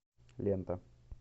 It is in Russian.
лента